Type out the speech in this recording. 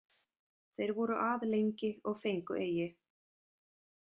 Þeir voru að lengi og fengu eigi.